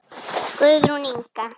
Guðrún Inga.